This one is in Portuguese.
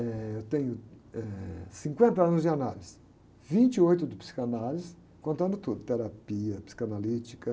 Eh, eu tenho, eh, cinquenta anos de análise, vinte e oito de psicanálise, contando tudo, terapia psicanalítica.